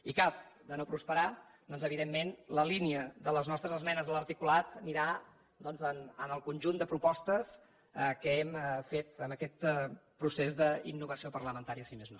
i en cas de no prosperar doncs evidentment la línia de les nostres esmenes a l’articulat anirà al conjunt de propostes que hem fet en aquest procés d’innovació parlamentària si més no